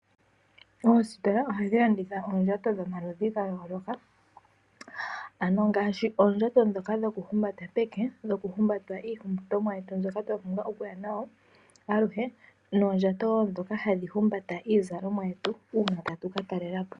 Oositola ohadhi landitha oondjato dhomaludhi ga yooloka. Ongaashi nee oondjato dhokuhumbata peke, dhoku hambata iipumbiwa yetu mbyoka twa pumbwa okuya nayo, noondjato ndhoka hadhi humbata iizalomwa yetu uuna tatu ka talela po.